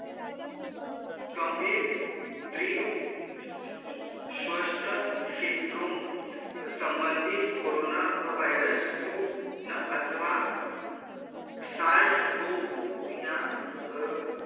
गंभीर तिर्व स्वाक्षण syndrome संबंधित कोरोना virus two व अथवा सासगो टू या अ